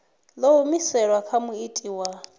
ḓo humiselwa kha muiti wa